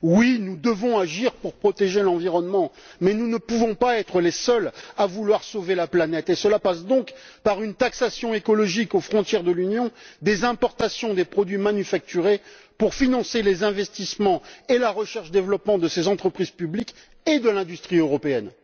Oui, nous devons agir pour protéger l'environnement mais nous ne pouvons pas être les seuls à vouloir sauver la planète, et cela passe donc par une taxation écologique aux frontières de l'Union, des importations de produits manufacturés pour financer les investissements et la recherche développement de ces entreprises publiques et de l'industrie européenne.